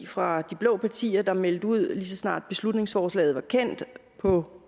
fra de blå partier der meldte ud nemlig så snart beslutningsforslaget var kendt på